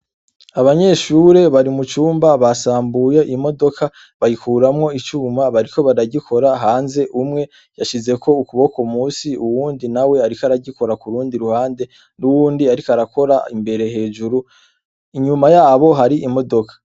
Abanyeshuri bari mu cumba basambuye imodoka bayikuramwo icuma bariko baragikora hanze umwe yashizeko ukuboko munsi uwundi nawe ariko aragikora kurundi ruhande n'uwundi ariko aragikora imbere hejuru inyuma yabo hari imodoka.